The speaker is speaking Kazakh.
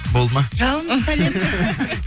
болды ма жалынды сәлем